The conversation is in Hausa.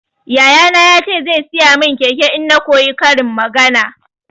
Yaya na ya ce zai saya min keke in na koyi karin magana.